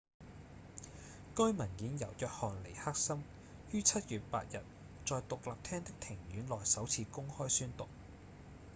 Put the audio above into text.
該文件由約翰尼克森於7月8日在獨立廳的庭院內首次公開宣讀